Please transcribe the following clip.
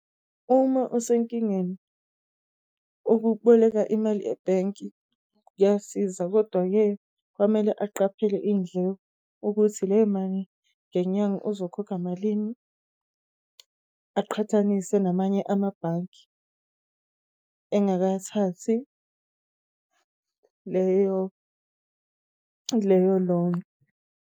Uma usenkingeni ukuboleka imali e-bank kuyasiza, kodwa-ke kwamele aqaphele iy'ndleko ukuthi lemali ngenyanga uzokhokha malini, aqhathanise namanye amabhange engakathathi leyo-loan.